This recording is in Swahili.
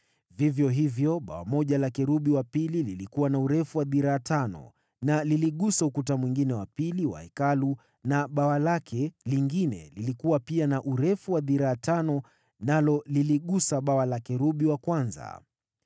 Vivyo hivyo bawa moja la kerubi wa pili lilikuwa na urefu wa dhiraa tano na liligusa ukuta mwingine wa pili wa Hekalu na bawa lake lingine, lilikuwa pia na urefu wa dhiraa tano nalo liligusa bawa la kerubi wa kwanza.